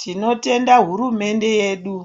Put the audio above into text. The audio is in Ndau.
Tinotenda hurumende yedu